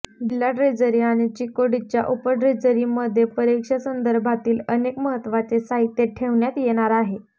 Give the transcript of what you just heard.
जिल्हा ट्रेझरी आणि चिकोडीच्या उपट्रेझरीमध्ये परीक्षेसंदर्भातील अनेक महत्त्वाचे साहित्य ठेवण्यात येणार आहे